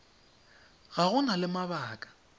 fa go na le mabaka